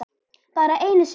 Bara einu sinni.